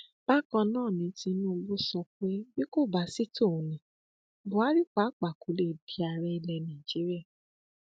bákan náà ni tinubu sọ pé bí kò bá sì tòun ní buhari pàápàá kó lè di ààrẹ ilẹ nàíjíríà